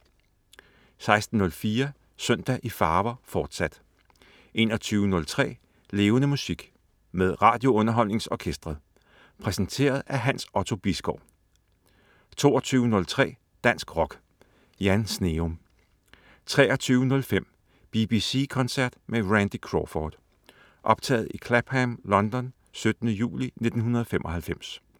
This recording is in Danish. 16.04 Søndag i farver, fortsat 21.03 Levende Musik. Med RadioUnderholdningsOrkestret. Præsenteret af Hans Otto Bisgaard 22.03 Dansk Rock. Jan Sneum 23.05 BBC koncert med Randy Crawford. Optaget i Clapham, London 17. juli 1995